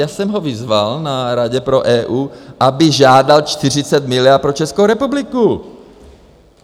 Já jsem ho vyzval, na Radě pro EU aby žádal 40 miliard pro Českou republiku!